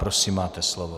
Prosím, máte slovo.